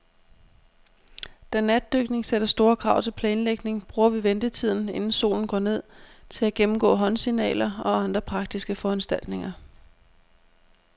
Da natdykning sætter store krav til planlægning, bruger vi ventetiden, inden solen går ned, til at gennemgå håndsignaler og andre praktiske foranstaltninger.